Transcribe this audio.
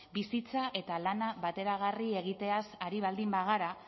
bizitza eta lana bateragarri egiteaz ari baldin bagara